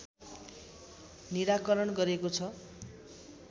निराकरण गरेको छ।